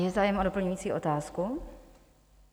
Je zájem o doplňující otázku?